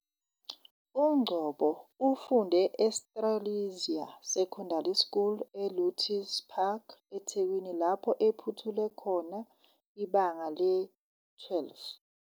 UNgcobo ufunde eStrelitzia Secondary School eLotus Park, eThekwini lapho ephothule khona ibanga le-12.